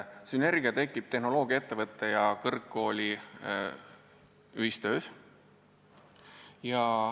Sünergia tekib tehnoloogiaettevõtte ja kõrgkooli ühistöös.